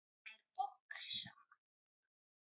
Þær oxa